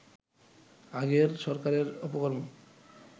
আগের সরকারের অপকর্ম